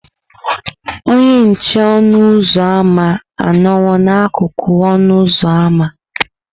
Onye nche ọnụ ụzọ ámá anọwo n'akụkụ ọnụ ụzọ ámá.